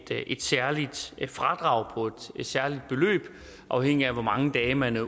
særligt fradrag på et særligt beløb afhængigt af hvor mange dage man er